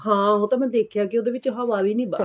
ਹਾਂ ਉਹ ਤਾਂ ਮੈਂ ਦੇਖਿਆ ਕੀ ਉਹਦੇ ਵਿੱਚ ਹਵਾ ਵੀ ਨੀਂ